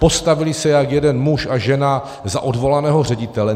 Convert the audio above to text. Postavili se jak jeden muž a žena za odvolaného ředitele.